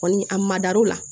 Kɔni a ma dar'o la